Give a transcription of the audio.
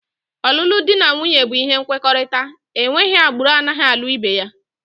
Ọlụlụ dị na nwunye bụ ihe nkwekọrịta, enweghị agbụrụ anaghị alụ ibe ya